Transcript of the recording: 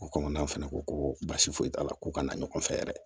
O kɔnɔna fɛnɛ ko ko basi foyi t'a la ko ka na ɲɔgɔn fɛ yɛrɛ